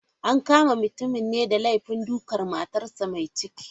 An kama mutumin ne da laifin dukan matarsa ​​mai ciki.